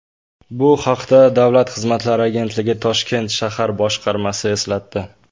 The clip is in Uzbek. Bu haqda Davlat xizmatlari agentligi Toshkent shahar boshqarmasi eslatdi.